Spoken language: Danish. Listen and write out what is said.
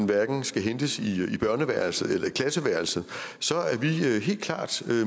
hverken skal hentes i børneværelset eller i klasseværelset så er vi helt klart